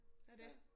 Og det